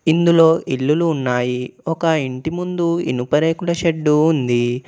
ఇందులో ఇల్లులు ఉన్నాయి. ఒక ఇంటి ముందు ఇనుప రేకుల షెడ్డు ఉంది.